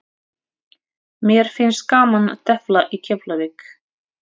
Mér finnst gaman að tefla í Keflavík.